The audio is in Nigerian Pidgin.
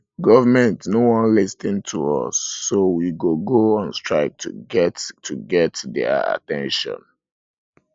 government no wan lis ten to us so we go go on strike to get to get their at ten tion